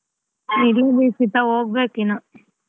ತಂದ್ಕಂಡಿಲ್ಲ ಹೋಗ್ಬೇಕ್ ಇನ್ನ್.